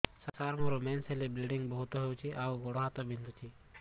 ସାର ମୋର ମେନ୍ସେସ ହେଲେ ବ୍ଲିଡ଼ିଙ୍ଗ ବହୁତ ହଉଚି ଆଉ ଗୋଡ ବହୁତ ବିନ୍ଧୁଚି